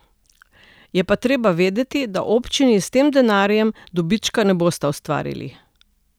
Je pa treba vedeti, da občini s tem denarjem dobička ne bosta ustvarili.